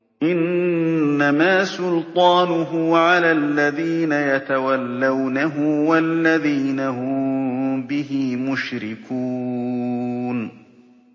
إِنَّمَا سُلْطَانُهُ عَلَى الَّذِينَ يَتَوَلَّوْنَهُ وَالَّذِينَ هُم بِهِ مُشْرِكُونَ